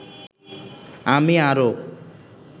আমি আরও